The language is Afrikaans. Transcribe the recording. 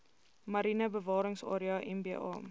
mariene bewaringsarea mba